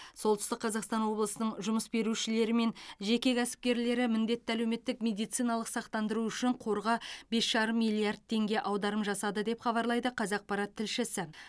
солтүстік қазақстан облысының жұмыс берушілері мен жеке кәсіпкерлері міндетті әлеуметтік медициналық сақтандыру үшін қорға бес жарым миллиард теңге аударым жасады деп хабарлайды қазақпарат тілшісі